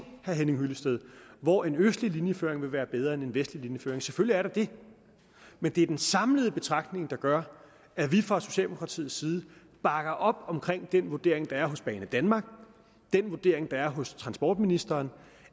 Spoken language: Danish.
herre henning hyllested hvor en østlig linjeføring vil være bedre end en vestlig linjeføring selvfølgelig er der det men det er den samlede betragtning der gør at vi fra socialdemokratiets side bakker op om den vurdering der er hos banedanmark den vurdering der er hos transportministeren